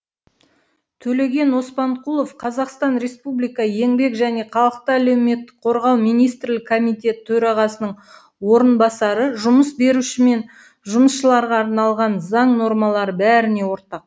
төлеген оспанқұлов қр еңбек және халықты әлеуметтік қорғау министрлігі комитеті төрағасының орынбасары жұмыс беруші мен жұмысшыларға арналған заң нормалары бәріне ортақ